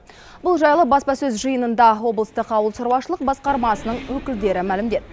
бұл жайлы баспасөз жиынында облыстық ауылшаруашылық басқармасының өкілдері мәлімдеді